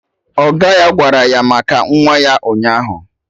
Ọga ya gwara ya maka nwa ya ụnyaahụ